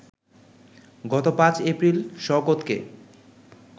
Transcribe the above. গত ৫ এপ্রিল শওকতকে